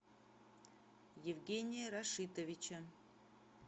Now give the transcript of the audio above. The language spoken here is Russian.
евгения рашитовича